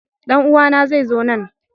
Dan uwana zai zo nan.